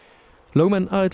lögmenn